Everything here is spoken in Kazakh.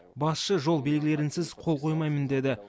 басшы жол белгілерінсіз қол қоймаймын деді